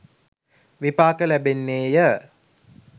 විපාක ලැබෙන්නේ ය.